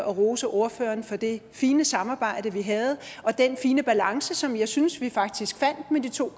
og rose ordføreren for det fine samarbejde vi havde og den fine balance som jeg synes at vi faktisk fandt med de to